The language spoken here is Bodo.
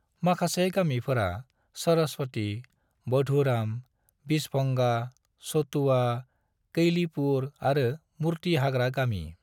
माखासे गामिफोरा सरस्वती, बुधुराम, बिछभंगा, चटुआ, कैलीपुर आरो मुर्ति हाग्रा गामि।